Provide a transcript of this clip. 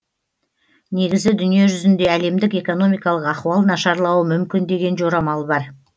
негізі дүние жүзінде әлемдік экономикалық ахуал нашарлауы мүмкін деген жорамал бар